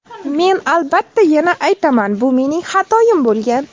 Men, albatta, yana aytaman, bu mening xatoyim bo‘lgan.